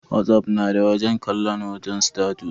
Whatsapp na da wajen kalon hoton status.